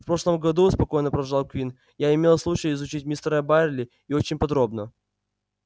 в прошлом году спокойно продолжал куинн я имел случай изучить мистера байерли и очень подробно